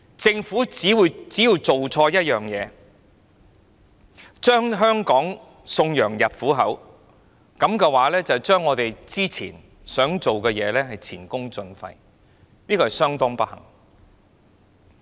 政府只要做錯一件事，便將香港送羊入虎口，這樣我們過去所做的便前功盡廢，這是相當不幸的。